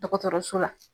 Dɔgɔtɔrɔso la